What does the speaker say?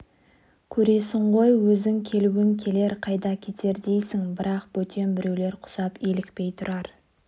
көресің ғой өзің келуін келер қайда кетер дейсің бірақ бөтен біреулер құсап илікпей тұрар